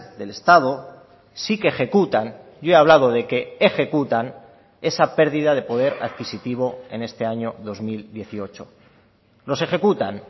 del estado sí que ejecutan yo he hablado de que ejecutan esa pérdida de poder adquisitivo en este año dos mil dieciocho los ejecutan